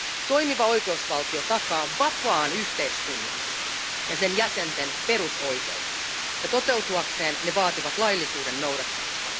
Toimiva oikeusvaltio takaa vapaan yhteiskunnan ja sen jäsenten perusoikeudet, ja toteutuakseen ne vaativat laillisuuden noudattamista.